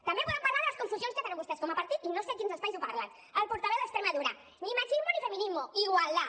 també podem parlar de les confusions que tenen vostès com a partit i no sé a quins espais ho parlen el portaveu d’extremadura ni machismo ni feminismo igualdad